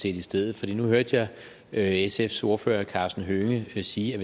i stedet nu hørte jeg sfs ordfører herre karsten hønge sige at